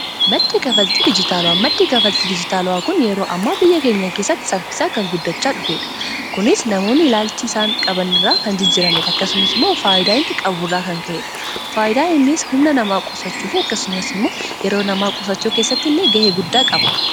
Maddi kaffaltii dijitaala'aa maddi kaffaltii dijitaalola'aa kun yeroo ammaa biyya keenya keessatti saffisaa kan guddachaa dhufeedha kunis namoonni ilaalchi isaan qabanirraa kan jijjirameh akkasumas immoo faayyidaa iti qabu rraa kan ka'ee dha faayidaainis humna namaa qusachuu fi akkasumas immoo yeroo namaa qusachuu keessatti illee ga'ee guddaa qaba.